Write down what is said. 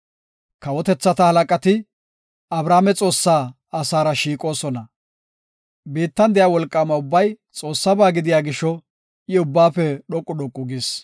Kawotethata halaqati, Abrahaame Xoossaa asaara shiiqoosona. Biittan de7iya wolqaama ubbay Xoossaba gidiya gisho I ubbaafe dhoqu dhoqu gis.